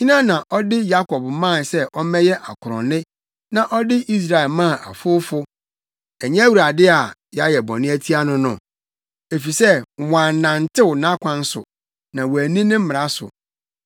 Hena na ɔde Yakob maa sɛ ɔmmɛyɛ akorɔnne, na ɔde Israel maa afowfo? Ɛnyɛ Awurade a yɛayɛ bɔne atia no no? Efisɛ wɔannantew nʼakwan so; na wɔanni ne mmara so.